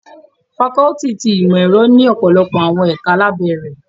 Fakọluti ti Imọ-ẹrọ ni ọpọlọpọ awọn ẹka labẹ rẹ